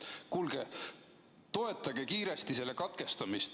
Kuulge, toetage kiiresti selle katkestamist.